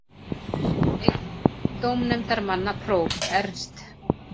Einn dómnefndarmanna, próf. Ernst